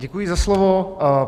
Děkuji za slovo.